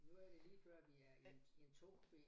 Nu er det lige før vi er i i en togkupé